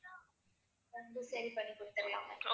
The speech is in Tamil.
வந்து சரி பண்ணி கொடுத்திடலாம் ma'am